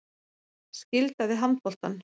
Skylda við handboltann